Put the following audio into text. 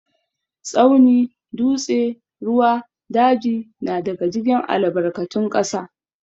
Tsauni, dutse, ruwa, daji na daga cikin albarkatun ƙasa.